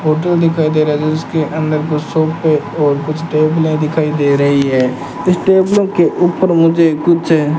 hotel दिखाई दे रहा है जिसके अंदर दो सोफे और कुछ टेबलें दिखाई दे रही हैं इस टेबलों के ऊपर मुझे कुछ --